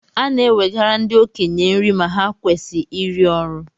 E na-nwegara ndi okenye nri ma ha kwesi iri ọrụ